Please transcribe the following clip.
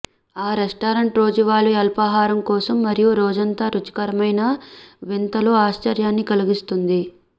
restaurant రోజువారీ అల్పాహారం కోసం మరియు రోజంతా రుచికరమైన వింతలు ఆశ్చర్యాన్ని కలిగిస్తుంది